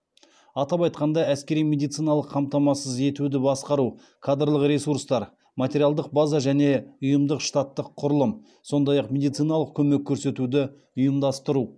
атап айтқанда әскери медициналық қамтамасыз етуді басқару кадрлық ресурстар материалдық база және ұйымдық штаттық құрылым сондай ақ медициналық көмек көрсетуді ұйымдастыру